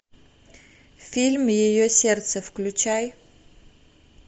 фильм ее сердце включай